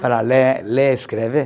Para ler, ler e escrever